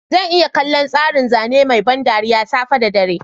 Zan iya kallon tsarin zane mai ban dariya safe da dare.